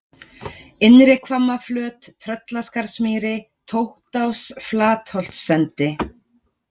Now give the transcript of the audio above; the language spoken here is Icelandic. Innri-Hvammaflöt, Tröllaskarðamýri, Tóttás, Flatholtsendi